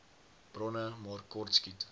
bronne maar kortskiet